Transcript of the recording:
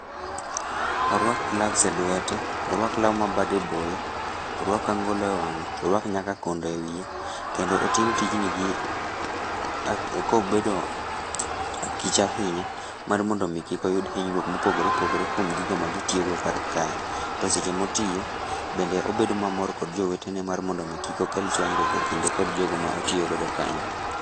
Orwak gloves e lwete, orwak lau ma bade boyo, orwak angolo e wang'e, orwak nyaka kondo e wiye, kendo otim tijni gi, a kobedo akicha ahinya mar mondomi kikoyud hinyruok mopogore opogore kwom gikmagitiyogo karkae to seche maotiyo bende obedo mamor kod jowetene mar mondomi Kik okel chwanyruok e kinde kid jogo ma otiyogodo kayo.